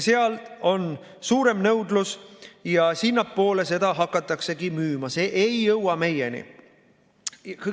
Seal on suurem nõudlus ja sinnapoole seda hakataksegi müüma, see ei jõua meieni.